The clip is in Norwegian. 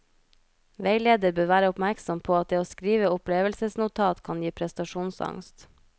Veileder bør være oppmerksom på at det å skrive opplevelsesnotat kan gi prestasjonsangst.